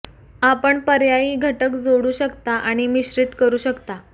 आपण पर्यायी घटक जोडू शकता आणि मिश्रित करू शकता